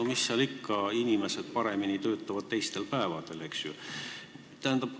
No mis seal ikka, inimesed töötavad teistel päevadel paremini.